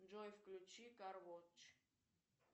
джой включи кар воч